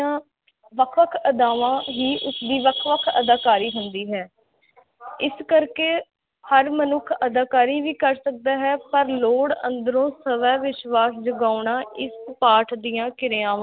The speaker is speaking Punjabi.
ਵਖ ਵਖ ਅਦਾਵਾਂ ਹੀ ਉਸ ਦੀ ਵਖ ਵਖ ਅਦਾਕਾਰੀ ਹੁੰਦੀ ਹੈ ਇਸ ਕਰਕੇ ਹਰ ਮਨੁਖ ਅਦਾਕਾਰੀ ਵੀ ਕਰ ਸਕਦਾ ਹੈ ਪਰ ਲੋੜ ਅੰਦਰੋ ਸਵੈ ਵਿਸ਼ਵਾਸ ਜਗਾਉਣਾ ਇਕ ਪਾਠ ਦੀਆ ਕਿਰਿਆਵਾਂ